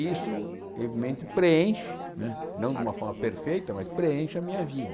Isso, evidentemente, preenche, né não de uma forma perfeita, mas preenche a minha vida.